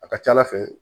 A ka ca ala fɛ